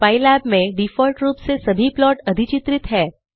pylab में default रूप से सभी प्लॉट अधिचित्रित हैं